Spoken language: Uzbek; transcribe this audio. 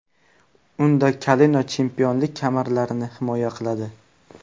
Unda Kanelo chempionlik kamarlarini himoya qiladi.